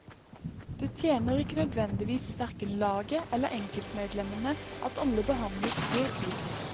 Det tjener ikke nødvendigvis verken laget eller enkeltmedlemmene at alle behandles helt likt.